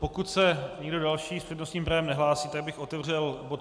Pokud se nikdo další s přednostním právem nehlásí, tak bych otevřel bod